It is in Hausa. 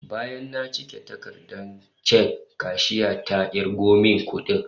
Bayan na cike takardar chekin, kashiyar ta kirgo min kudin